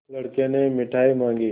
लड़के ने मिठाई मॉँगी